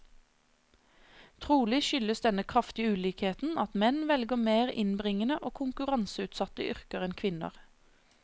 Trolig skyldes denne kraftige ulikheten at menn velger mer innbringende og konkurranseutsatte yrker enn kvinner.